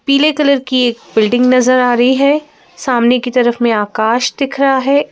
पीले कलर की एक बिल्डिंग नजर आ रही है सामने की तरफ में आकाश दिख रहा है।